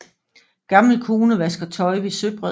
Gammel kone vasker tøj ved søbred